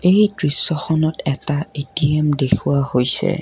এই দৃশ্যখনত এটা এ_টি_এম দেখুওৱা হৈছে।